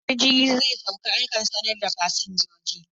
Idan jirgi zai sauka akan sanar da fasinjoji